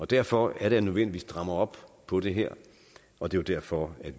derfor er det nødvendigt at stramme op på det her og det er derfor